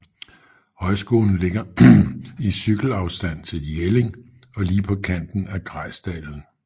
Højskolen ligger i cykelafstand til Jelling og lige på kanten af Grejsdalen